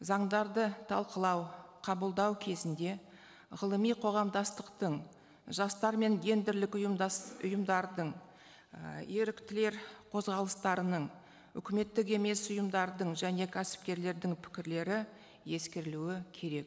заңдарды талқылау қабылдау кезінде ғылыми қоғамдастықтың жастар мен гендерлік ұйымдардың і еріктілер қозғалыстарының үкіметтік емес ұйымдардың және кәсіпкерлердің пікірлері ескеріліуі керек